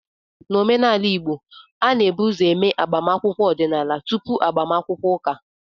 N'omenala Igbo, a na-ebu ụzọ eme agbamakwụkwọ ọdịnala tupu agbamakwụkwọ ụka